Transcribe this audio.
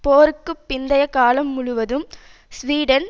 போருக்கு பிந்தைய காலம் முழுவதும் ஸ்வீடன்